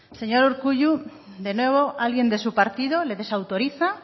señor urkullu de nuevo alguien de su partido le desautoriza